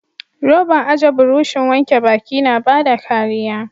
Roban aje burushin wanke baki na bada kariya.